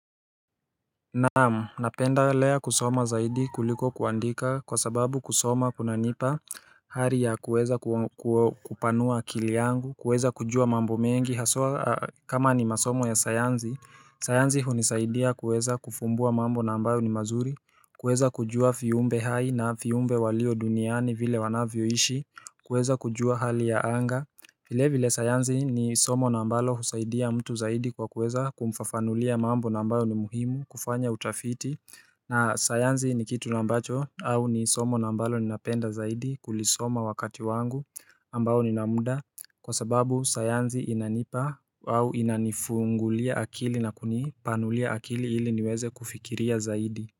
Naam, napendelea kusoma zaidi kuliko kuandika kwa sababu kusoma kuna nipa hari ya kuweza kupanua akili yangu, kuweza kujua mambo mengi, haswa kama ni masomo ya sayansi sayansi hunisaidia kuweza kufumbua mambo na ambayo ni mazuri, kuweza kujua viumbe hai na viumbe walio duniani vile wanavyoishi, kuweza kujua hali ya anga vile vile sayansi ni somo na ambalo husaidia mtu zaidi kwa kuweza kumfafanulia mambo na ambayo ni muhimu kufanya utafiti na sayansi ni kitu na ambacho au ni somo na ambalo ninapenda zaidi kulisoma wakati wangu ambao ninamuda Kwa sababu sayansi inanipa au inanifungulia akili na kunipanulia akili ili niweze kufikiria zaidi.